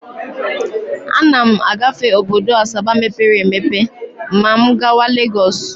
Ana m agafe obodo Asaba mepere emepe ma m gawa Legọs.